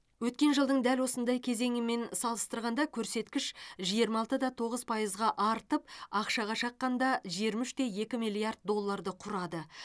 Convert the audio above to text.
өткен жылдың дәл осындай кезеңімен салыстырғанда көрсеткіш жиырма алты да тоғыз пайызға артып ақшаға шаққанда жиырма үш те екі миллиард долларды құрады